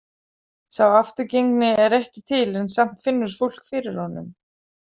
Sá afturgengni er ekki til en samt finnur fólk fyrir honum.